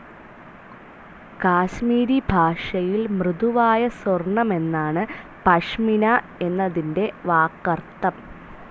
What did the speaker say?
കാശ്മീരി ഭാഷയിൽ മൃദുവായ സ്വർണ്ണമെന്നാണ് പഷ്മിന എന്നതിൻ്റെ വാക്കർത്ഥം.